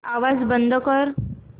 आवाज बंद कर